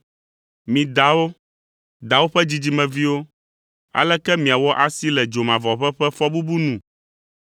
“Mi dawo! Dawo ƒe dzidzimeviwo! Aleke miawɔ asi le dzomavɔʋe ƒe fɔbubu nu?